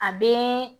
A bee